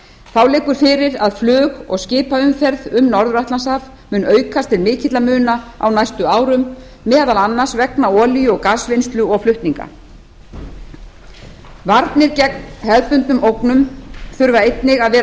þá liggur fyrir að flug og skipaumferð um norður atlantshaf mun aukast til mikilla muna á næstu árum meðal annars vegna olíu og gasvinnslu og flutninga varnir gegn hefðbundnum ógnum þurfa einnig að vera